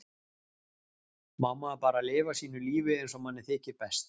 Má maður bara lifa sínu lífi eins og manni þykir best!